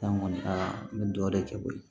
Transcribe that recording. San ŋɔni aa n bɛ dɔ de kɛ koyi